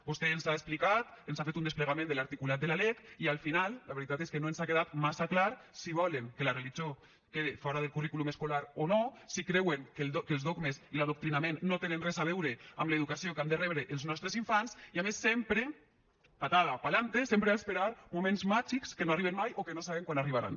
vostè ens ha explicat ens ha fet un desplegament de l’articulat de la lec i al final la veritat és que no ens ha quedat massa clar si volen que la religió quede fora del currículum escolar o no si creuen que els dogmes i l’adoctrinament no tenen res a veure amb l’educació que han de rebre els nostres infants i a més sempre patada p’alante sempre a esperar moments màgics que no arriben mai o que no sabem quan arribaran